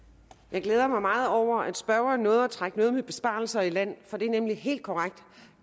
glæder mig meget over at spørgeren nåede at trække det med besparelser i land for det er nemlig helt korrekt